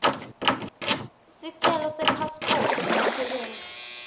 sicelo sepasiphothi yebasebenti